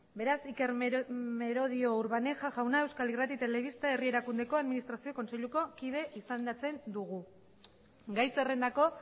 beraz iker merodio urbaneja jauna euskal irrati telebista herri erakundeko administrazio kontseiluko kide izendatzen dugu gai zerrendako